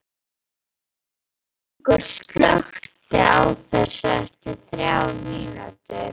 Fengur, slökktu á þessu eftir þrjár mínútur.